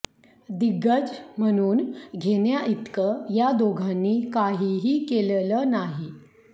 दिग्गज म्हणवून घेण्याइतकं या दोघांनी काहीही केलेलं नाही